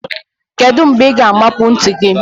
Kedu mgbe ị ga-amapu ntị gị?